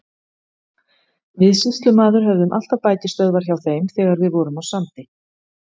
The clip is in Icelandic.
Við sýslumaður höfðum alltaf bækistöðvar hjá þeim þegar við vorum á Sandi.